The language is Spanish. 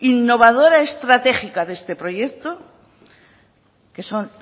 innovadora estratégica de este proyecto que son